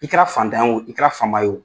I kɛra fantan ye o , i kɛra fama ye o,